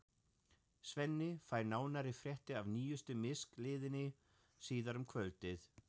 Svenni fær nánari fréttir af nýjustu misklíðinni síðar um kvöldið.